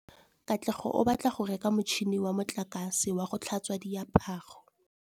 Katlego o batla go reka motšhine wa motlakase wa go tlhatswa diaparo.